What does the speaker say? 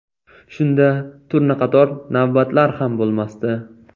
Shunda turnaqator navbatlar ham bo‘lmasdi.